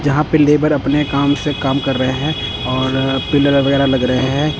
जहां पे लेबर अपने काम से काम कर रहे हैं और पिलर वगैरा लग रहे हैं।